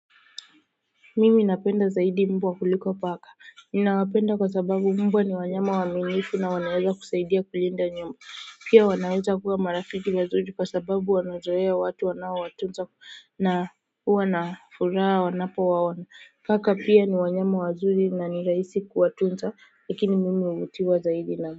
Mimi napenda zaidi mbwa kuliko paka. Ninawapenda kwa sababu mbwa ni wanyama waaminifu na wanaeza kusaidia kulinda nyumba. Pia wanaweza kuwa marafiki wazuri kwa sababu wanazoea watu wanaowatunza na huwa na furaha wanapo waona. Paka pia ni wanyama wazuri na ni rahisi kuwatunza. Lskini mimi huvutiwa zaidi na.